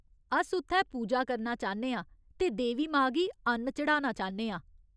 अस उत्थै पूजा करना चाह्न्ने आं ते देवी मां गी अन्न चढ़ाना चाह्न्ने आं।